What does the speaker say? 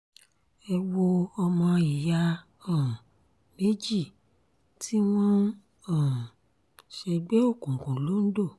ẹ wo ọmọ ìyá um méjì tí wọ́n ń um ṣègbè òkùnkùn londo